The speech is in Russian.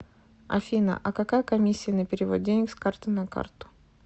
афина а какая комиссия на перевод денег с карты на карту